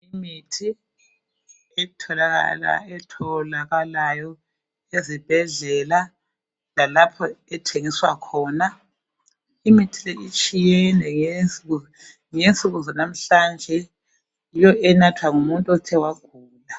Imithi etholakala ezibhedlela lalapha ethingiswa khona, imithi leyo itshiyene yebo nginsuku zanamuhlanje yiyo enathwa ngumuntu okewagula